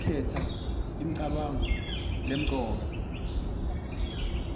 ngekukhetsa imicabango lemcoka